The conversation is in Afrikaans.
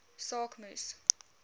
saak moes